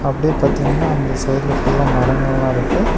அப்டியே பாத்தீங்னா அந்த சைடுல ஃபுல்லா மரங்கல்லா இருக்கு.